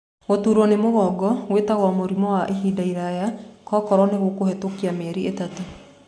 Gũturo nĩ mũgongo gwĩtagwo mũrĩmũ wa ihinda rĩraya koro nĩgũkũhĩtũka mieri ĩtatũ.